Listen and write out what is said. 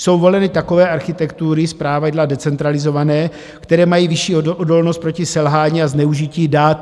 Jsou voleny takové architektury, zpravidla decentralizované, které mají vyšší odolnost proti selhání a zneužití dat.